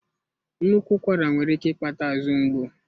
Nnukwu ụkwara nwere ike ịkpata azụ ngbu.